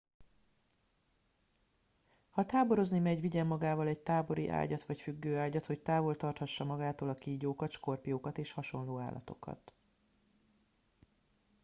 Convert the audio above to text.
ha táborozni megy vigyen magával egy tábori ágyat vagy függőágyat hogy távol tarthassa magától a kígyókat skorpiókat és hasonló állatokat